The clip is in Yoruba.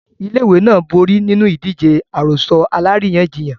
Ilé-ìwé náà borí nínú ìdíje àròsọ alárìíyànjiyàn.